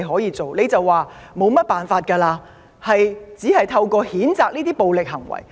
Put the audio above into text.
你說沒有甚麼辦法，只能譴責這些暴力行為。